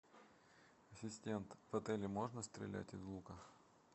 ассистент в отеле можно стрелять из лука